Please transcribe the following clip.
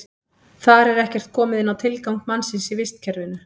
Þar er ekkert komið inn á tilgang mannsins í vistkerfinu.